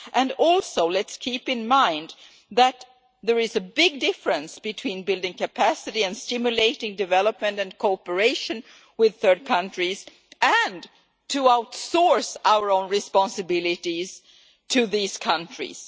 Let us also keep in mind that there is a big difference between building capacity and stimulating development and cooperation with third countries and outsourcing our own responsibilities to these countries.